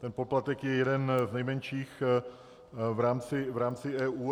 Ten poplatek je jeden z nejmenších v rámci EU.